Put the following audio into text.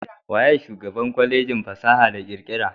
Waye shugaban Kwalejin fasaha da kirkira?